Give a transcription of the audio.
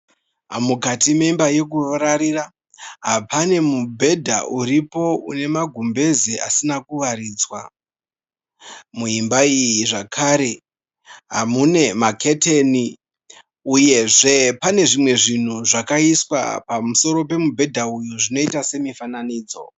Mukati memba yekurarira pane mubhedha uripo une magumbeze asina asina kuwaridzwa muimba iyi zvakare mune maketini uyezve pane zvakaiswa pamusoro pemubhedha uyu zvinoiita semufananidzo.